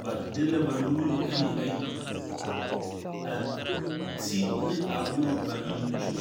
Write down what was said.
ba di la ba nuuri ayi ayi a te ne a buma ba nang tuo.